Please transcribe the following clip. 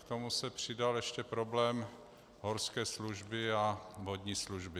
K tomu se přidal ještě problém horské služby a vodní služby.